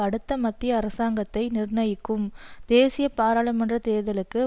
அடுத்த மத்திய அரசாங்கத்தை நிர்ணயிக்கும் தேசிய பாராளுமன்ற தேர்தலுக்கு